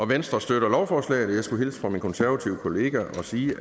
venstre støtter lovforslaget og jeg skulle hilse fra min konservative kollega og sige